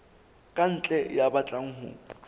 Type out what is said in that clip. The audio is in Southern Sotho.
ka ntle ya batlang ho